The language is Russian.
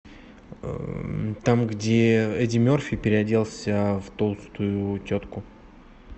там где эдди мерфи переоделся в толстую тетку